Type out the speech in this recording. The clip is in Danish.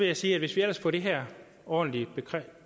jeg sige at hvis vi ellers får det her ordentligt